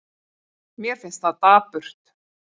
Mér finnst það dapurt.